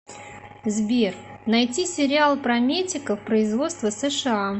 сбер найти сериал про метиков производства сша